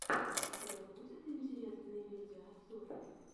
у тебя будет интересные видеообзоры